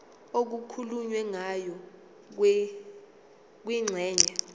okukhulunywe ngayo kwingxenye